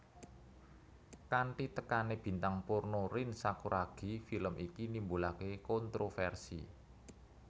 Kanthi tekane bintang porno Rin Sakuragi film iki nimbulake kontroversi